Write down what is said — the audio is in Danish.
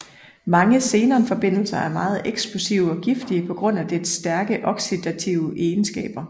Mange xenon forbindelser er meget eksplosive og giftige på grund af dets stærke oxidative egenskaber